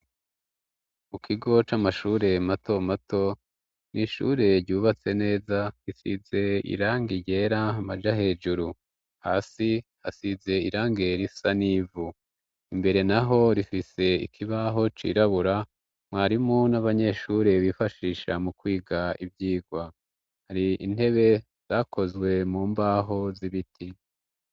Mu kigo c'amashure matomato . N'ishure ryubatse neza risize irangi ryera amaja hejuru. Hasi hasize irange risa n'ivu imbere naho rifise ikibaho cirabura ,mwarimu n'abanyeshure bifashisha mu kwiga ivyigwa . Hari intebe zakozwe mu mbaho z'ibiti.